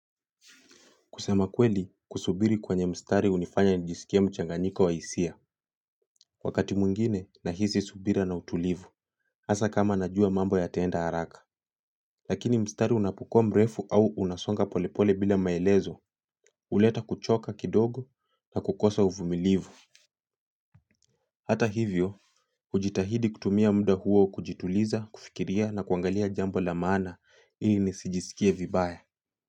Kusema kweli, kusubiri kwenye mstari hunifanya nijisikie mchanganiko wa hisia. Wakati mwengine, nahisi subira na utulivu. Hasa kama najua mambo yataenda haraka. Lakini mstari unapokua mrefu au unasonga polepole bila maelezo. Huleta kuchoka kidogo na kukosa uvumilivu hata hivyo hujitahidi kutumia muda huo kujituliza kufikiria na kuangalia jambo la maana ili nisijiskie vibaya.